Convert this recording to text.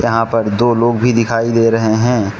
यहां पर दो लोग भी दिखाई दे रहे है।